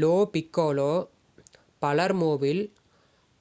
low Piccolo பலெர்மோவில்